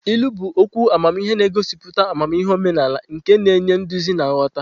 Ilu bụ okwu amamihe na-egosipụta amamihe omenala nke na-enye nduzi na nghọta.